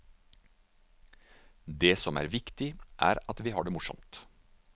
Det som er viktig er at vi har det morsomt.